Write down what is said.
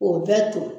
K'o bɛɛ to